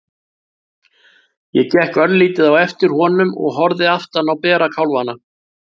Ég gekk örlítið á eftir honum og horfði aftan á bera kálfana.